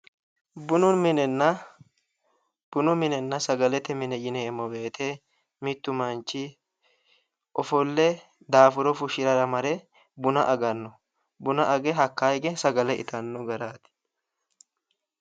Bunu minenna, bunu minenna sagalete mine yineemmo woyte mitu manchi ofolle daafuro fushirara mare buna agano ,buna agge hakka hige sagale ittano garati